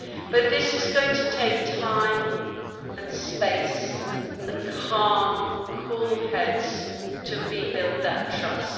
But it is going to take time and space and calm, cool heads to rebuild that trust.